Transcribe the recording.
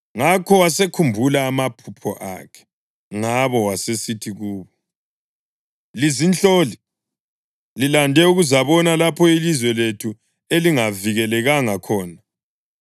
Ngakho wasekhumbula amaphupho akhe ngabo wasesithi kubo, “Lizinhloli! Lilande ukuzabona lapho ilizwe lethu elingavikelekanga khona.”